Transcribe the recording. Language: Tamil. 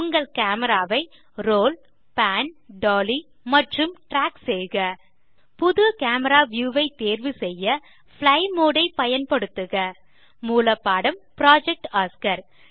உங்கள் கேமரா ஐ ரோல் பான் டாலி மற்றும் ட்ராக் செய்க புது கேமரா வியூ ஐ தேர்வு செய்ய பிளை மோடு ஐ பயன்படுத்துக மூலப்பாடம் புரொஜெக்ட் ஒஸ்கார்